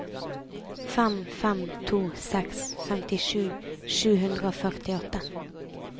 fem fem to seks femtisju sju hundre og førtiåtte